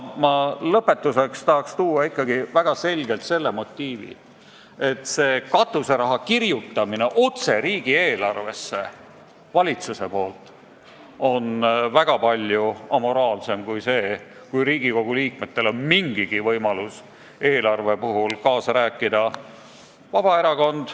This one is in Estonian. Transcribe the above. Lõpetuseks aga tahaks ikkagi väga selgelt välja tuua argumendi, et katuseraha kirjutamine otse riigieelarvesse on valitsuse poolt väga palju amoraalsem kui see, kui Riigikogu liikmetel on mingigi võimalus eelarve puhul kaasa rääkida.